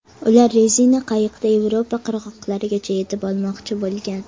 Ular rezina qayiqda Yevropa qirg‘oqlarigacha yetib olmoqchi bo‘lgan.